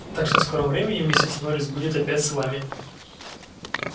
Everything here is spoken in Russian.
так что в скором времени миссис норрис будет опять с вами